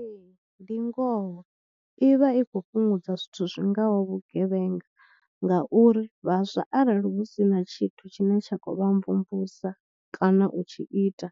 Ee ndi ngoho i vha i khou fhungudza zwithu zwi ngaho vhugevhenga ngauri vhaswa arali hu si na tshithu tshine tsha khou vha mvumvusa kana u tshi ita